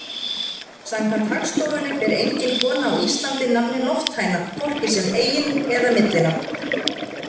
Samkvæmt Hagstofunni ber engin kona á Íslandi nafnið Lofthæna, hvorki sem eigin- eða millinafn.